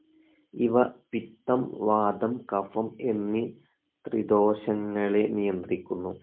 ഇവ പിത്തം, വാതം, കഫം എന്നീ ത്രിദോഷങ്ങളെ നിയന്ത്രിക്കുന്നു.